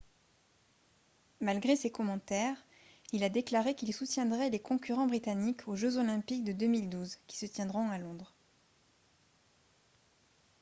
malgré ses commentaires il a déclaré qu'il soutiendrait les concurrents britanniques aux jeux olympiques de 2012 qui se tiendront à londres